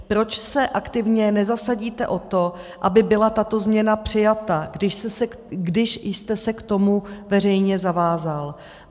Proč se aktivně nezasadíte o to, aby byla tato změna přijata, když jste se k tomu veřejně zavázal?